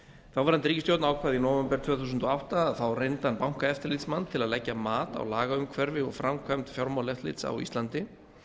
þáverandi ríkisstjórn ákvað í nóvember tvö þúsund og átta að fá reyndan bankaeftirlitsmann til að leggja mat á lagaumhverfi og framkvæmd fjármálaeftirlits á íslandi